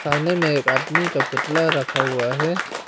में एक आदमी का पुतला रखा हुआ है।